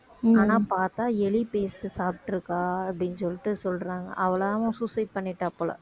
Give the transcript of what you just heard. ஆனா பார்த்தா எலி paste சாப்பிட்டிருக்கா அப்படின்னு சொல்லிட்டு சொல்றாங்க அவளாவும் suicide பண்ணிட்டாப் போல